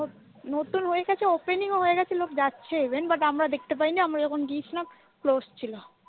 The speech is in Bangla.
নতুন হয়ে গেছে opening হয়ে গেছে লোক যাচ্ছে even but আমরা দেখতে পাইনি, আমরা যখন গিয়েছিলাম close ছিল।